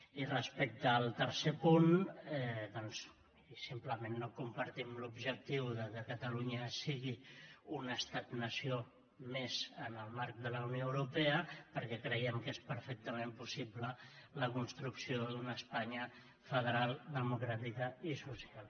i respecte al tercer punt doncs miri simplement no compartim l’objectiu que catalunya sigui un estat nació més en el marc de la unió europea perquè creiem que és perfectament possible la construcció d’una espanya federal democràtica i social